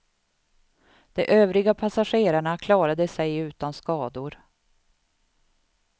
De övriga passagerarna klarade sig utan skador.